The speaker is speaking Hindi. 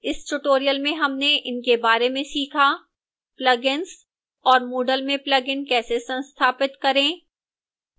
इस tutorial में हमने in बारे में सीखा: